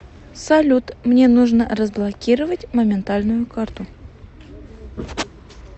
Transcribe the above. салют мне нужно разблокировать моментальную карту